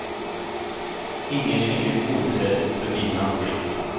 Ingen slinker osedd förbi hans blick.